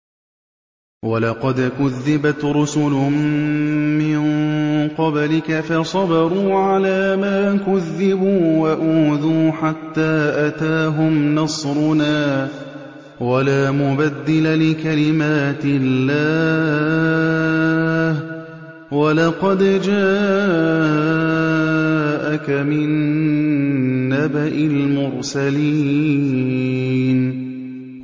وَلَقَدْ كُذِّبَتْ رُسُلٌ مِّن قَبْلِكَ فَصَبَرُوا عَلَىٰ مَا كُذِّبُوا وَأُوذُوا حَتَّىٰ أَتَاهُمْ نَصْرُنَا ۚ وَلَا مُبَدِّلَ لِكَلِمَاتِ اللَّهِ ۚ وَلَقَدْ جَاءَكَ مِن نَّبَإِ الْمُرْسَلِينَ